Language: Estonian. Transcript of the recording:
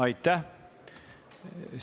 Aitäh!